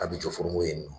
A bi jɔ furgo in ye nɔ